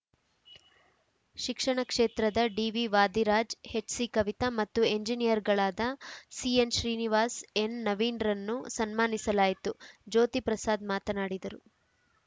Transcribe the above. ಶಿಕ್ಷಣ ಕ್ಷೇತ್ರದ ಡಿವಿವಾದಿರಾಜ್‌ ಎಚ್‌ಸಿಕವಿತಾ ಮತ್ತು ಎಂಜಿನಿಯರ್‌ಗಳಾದ ಸಿಎನ್‌ಶ್ರೀನಿವಾಸ್‌ ಎನ್‌ನವೀನ್‌ರನ್ನು ಸನ್ಮಾನಿಸಲಾಯಿತುಜ್ಯೋತಿ ಪ್ರಸಾದ್‌ ಮಾತನಾಡಿದರು